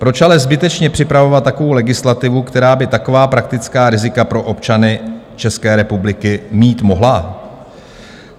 Proč ale zbytečně připravovat takovou legislativu, která by taková praktická rizika pro občany České republiky mít mohla?